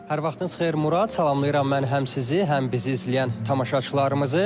Hər vaxtınız xeyir Murad, salamlayıram mən həm sizi, həm bizi izləyən tamaşaçılarımızı.